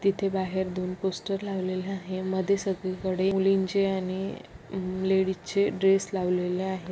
तिथे बाहेर दोन पोस्टर लावलेले आहे मध्ये सगळीकडे मुलींचे आणि लेडीजचे ड्रेस लावलेले आहेत.